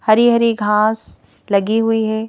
हरी हरी घास लगी हुई है।